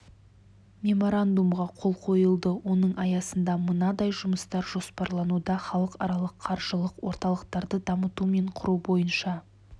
меморандумға қол қойылды оның аясында мынадай жұмыстар жоспарлануда халықаралық қаржылық орталықтарды дамыту мен құру бойынша